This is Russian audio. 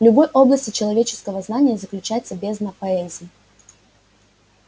в любой области человеческого знания заключается бездна поэзии